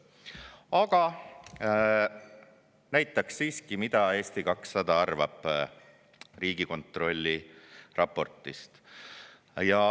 Aga näitaksin siiski, mida Eesti 200 arvab Riigikontrolli raportist.